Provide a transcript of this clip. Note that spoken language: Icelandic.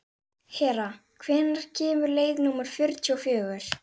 Hera, hvenær kemur leið númer fjörutíu og fjögur?